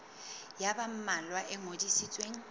ya ba mmalwa e ngodisitsweng